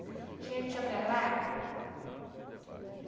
A gente ia para lá.